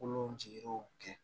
Kolo jigiw kɛ